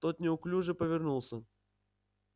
тот неуклюже повернулся